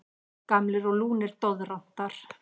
Gamlir og lúnir doðrantar.